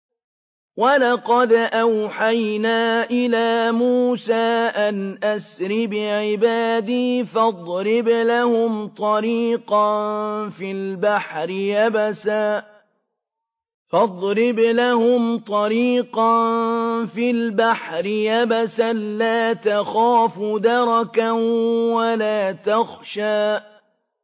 وَلَقَدْ أَوْحَيْنَا إِلَىٰ مُوسَىٰ أَنْ أَسْرِ بِعِبَادِي فَاضْرِبْ لَهُمْ طَرِيقًا فِي الْبَحْرِ يَبَسًا لَّا تَخَافُ دَرَكًا وَلَا تَخْشَىٰ